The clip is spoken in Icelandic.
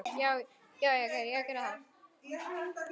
Já já, ég gerði það.